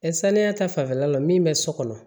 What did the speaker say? saniya ta fanfɛla la min bɛ so kɔnɔ